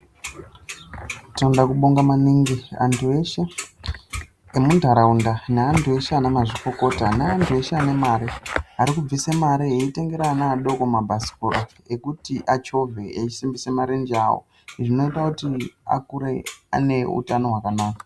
Tinoda kubonga maningi antu eshe emuntaraunda neantu eshe ana mazvikokota neantu eshe ane mare arikubvise mare eitengera ana adoko mabhasikoro ekuti achovhe eyisimbisa marenje awo. Izvi zvinoita kuti akure ane utano hwakanaka.